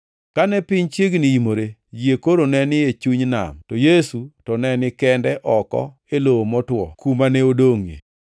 Kane piny chiegni imore, yie koro ne ni e chuny nam to Yesu to ne ni kende oko e lowo motwo kuma ne odongʼie.